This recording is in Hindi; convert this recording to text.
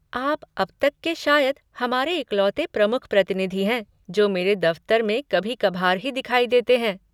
आप अब तक के शायद हमारे इकलौते प्रमुख प्रतिनिधि हैं जो मेरे दफ़्तर में कभी कभार ही दिखाई देते हैं।